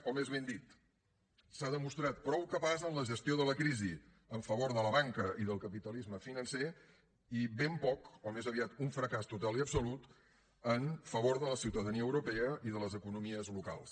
o més ben dit s’ha demostrat prou capaç en la gestió de la crisi en favor de la banca i del capitalisme financer i ben poc o més aviat un fracàs total i absolut en favor de la ciutadania europea i de les economies locals